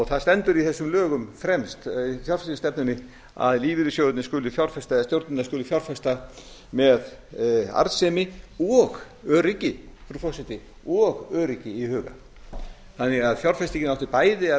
það stendur í þessum lögum fremst fjárfestingarstefnunni að lífeyrissjóðirnir skuli fjárfesta eða stjórnirnar skulu fjárfesta með arðsemi og öryggi frú forseti og öryggi í huga þannig að fjárfestingin átti bæði að